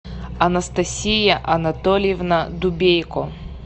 анастасия анатольевна дубейко